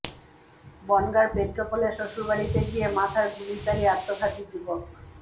বনগাঁর পেট্রাপোলে শ্বশুরবাড়িতে গিয়ে মাথায় গুলি চালিয়ে আত্মঘাতী যুবক